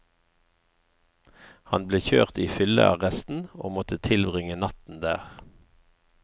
Han ble kjørt i fyllearresten, og måtte tilbringe natten der.